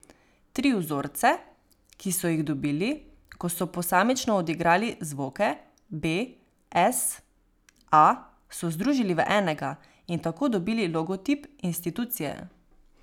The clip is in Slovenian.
Tri vzorce, ki so jih dobili, ko so posamično odigrali zvoke b, es, a, so združili v enega in tako dobili logotip institucije.